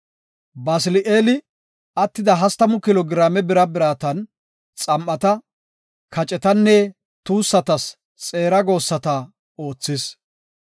Basili7eeli, attida hastamu kilo giraame bira biratan xam7ata, kacetanne tuussatas xeera goossata oothis.